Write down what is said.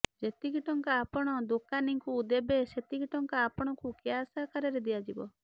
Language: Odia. ଯେତିକି ଟଙ୍କା ଆପଣ ଦୋକାନୀଙ୍କୁ ଦେବେ ସେତିକି ଟଙ୍କା ଆପଣଙ୍କୁ କ୍ୟାସ ଆକାରରେ ଦିଆଯିବ